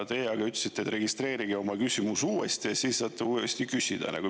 Teie aga ütlesite, et registreerige oma küsimus uuesti, siis saate uuesti küsida.